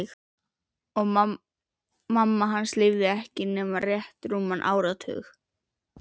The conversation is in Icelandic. Og mamma lifði hann ekki nema rétt rúman áratug.